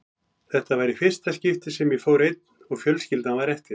Þetta var í fyrsta skiptið sem ég fór einn og fjölskyldan var eftir.